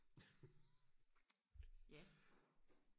ja